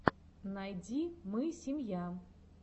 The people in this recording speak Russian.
найди мы семья